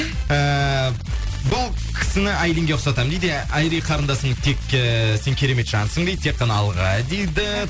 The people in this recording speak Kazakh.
ііі бұл кісіні айлинге ұқсатамын дейді айри қарындасым тек ііі сен керемет жансың дейді тек қана алға дейді